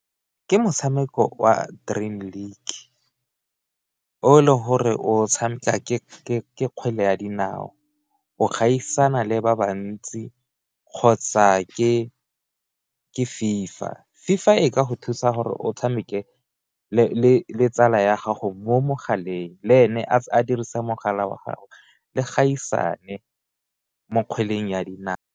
Ke motshameko o a drain link o le gore o tshameka ke kgwele ya dinao o gaisana le ba bantsi kgotsa ke ke fifa, fifa e ka go thusa gore o tshameke le tsala ya gago mo mogaleng le ene a dirisa mogala wa gagwe le gaisana mo kgweleng ya dinao.